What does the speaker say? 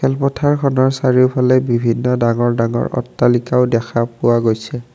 ও পথাৰখনৰ চাৰিওফালে বিভিন্ন ডাঙৰ ডাঙৰ অট্টালিকাও দেখা পোৱা গৈছে।